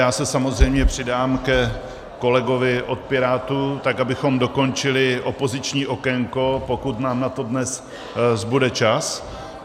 Já se samozřejmě přidám ke kolegovi od Pirátů, tak abychom dokončili opoziční okénko, pokud nám na to dnes zbude čas.